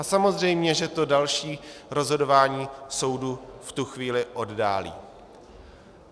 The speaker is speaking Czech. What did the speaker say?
A samozřejmě že to další rozhodování soudu v tu chvíli oddálí.